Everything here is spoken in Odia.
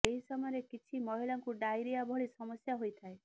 ଏହି ସମୟରେ କିଛି ମହିଳାଙ୍କୁ ଡାଇରିଆ ଭଳି ସମସ୍ୟା ହୋଇଥାଏ